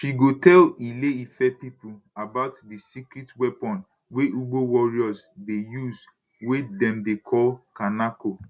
she go tell ile ife pipo about di secret weapon wey ugbo warriors dey use wey dem dey call kanako